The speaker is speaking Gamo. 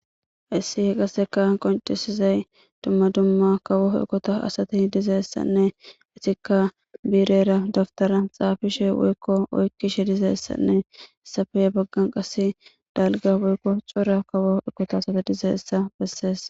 hayssi qasseka qoncesizay dumma dumma kawoo ekota asati dizeessanne itikka biirera daftara xaafishe woykko oykkishe dizeessanne essafeye baggan qase dalga woykko cora kawoo ekota asate dizeessa bessees